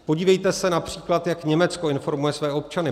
Podívejte se například, jak Německo informuje své občany.